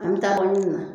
An bɛ taa wari ɲini na